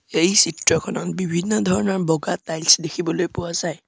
এই চিত্ৰখনত বিভিন্ন ধৰণৰ বগা টাইলছ দেখিবলৈ পোৱা যায়।